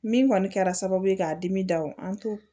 Min kɔni kɛra sababu ye k'a dimi dabɔ an to